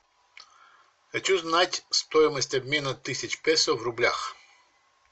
хочу знать стоимость обмена тысяч песо в рублях